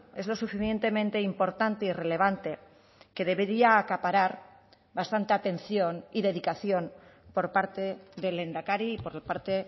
es lo suficientemente importante y relevante que debería acaparar bastante atención y dedicación por parte del lehendakari y por la parte